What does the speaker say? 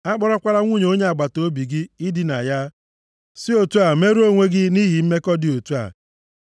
“ ‘A kpọrọkwala nwunye onye agbataobi gị idina ya, si otu a merụọ onwe gị nʼihi mmekọ dị otu a. + 18:20 \+xt Ọpụ 20:14; Mat 5:27-28; 1Kọ 6:9; Hib 13:4\+xt*